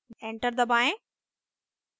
enter दबाएं